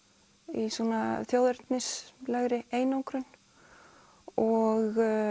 í svona þjóðernislegri einangrun og